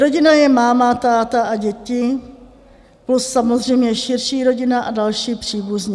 Rodina je máma, táta a děti, plus samozřejmě širší rodina a další příbuzní.